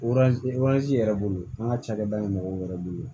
yɛrɛ bolo an ka cakɛda in mɔgɔw yɛrɛ bolo